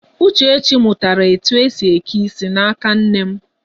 Uchechi mụtara etu esi eke isi n'aka nne m.